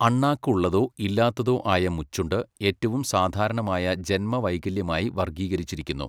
അണ്ണാക്ക് ഉള്ളതോ ഇല്ലാത്തതോ ആയ മുച്ചുണ്ട് ഏറ്റവും സാധാരണമായ ജന്മ വൈകല്യമായി വർഗ്ഗീകരിച്ചിരിക്കുന്നു.